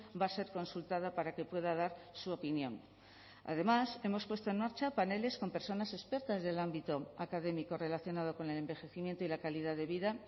va a ser consultada para que pueda dar su opinión además hemos puesto en marcha paneles con personas expertas del ámbito académico relacionado con el envejecimiento y la calidad de vida